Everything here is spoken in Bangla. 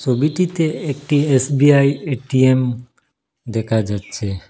ছবিটিতে একটি এস_বি_আই এ_টি_এম দেখা যাচ্ছে।